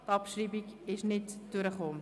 Die Abschreibung ist nicht durchgekommen.